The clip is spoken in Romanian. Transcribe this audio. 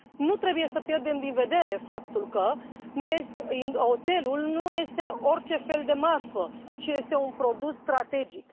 Nu trebuie să pierdem din vedere faptul că oțelul nu este orice fel de marfă, ci este un produs strategic.